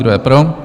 Kdo je pro?